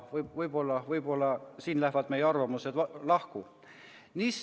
Võib-olla siin lähevad meie arvamused lahku.